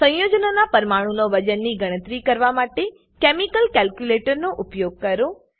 સંયોજનો ના પરમાણુનો વજનની ગણતરી કરવા માટે કેમિકલ કેલ્ક્યુલેટર નો ઉપયોગ કરો